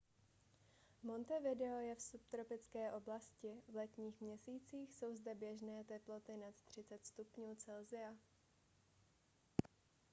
montevideo je v subtropické oblasti; v letních měsících jsou zde běžné teploty nad 30 °c